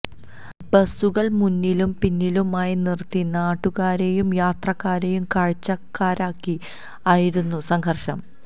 ബസുകള് മുന്നിലും പിന്നിലുമായി നിര്ത്തി നാട്ടുകാരേയും യാത്രക്കാരേയും കാഴ്ചക്കാരാക്കി ആയിരുന്നു സംഘര്ഷം